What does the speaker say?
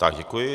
Tak děkuji.